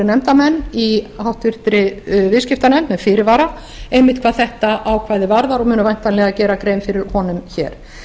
nefndarmenn í háttvirtri viðskiptanefnd með fyrirvara einmitt hvað þetta ákvæði varðar og munu væntanlega gera grein fyrir honum hér